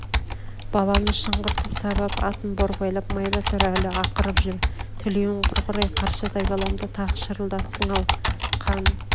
баланы шыңғыртып сабап атын борбайлап майбасар әлі ақырып жүр тілеуің құрғыр-ай қаршадай баламды тағы шырылдаттың-ау қан